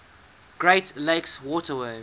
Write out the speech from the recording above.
great lakes waterway